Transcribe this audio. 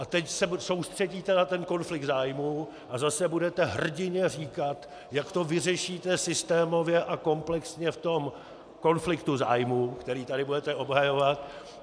A teď se soustředíte na ten konflikt zájmů a zase budete hrdinně říkat, jak to vyřešíte systémově a komplexně v tom konfliktu zájmů, který tady budete obhajovat.